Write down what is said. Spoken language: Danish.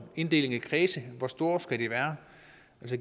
inddelingen i kredse hvor store skal de være